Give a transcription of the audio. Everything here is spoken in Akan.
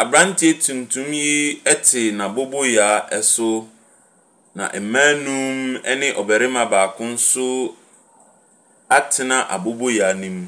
Abranteɛ tuntum yi te n'aboboyaa so. Na maa num ne ɔbarima baako so atena aboboyaa no mu.